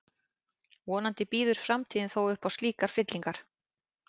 Vonandi býður framtíðin þó upp á slíkar fyllingar.